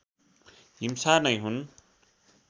हिंसा नै हुन्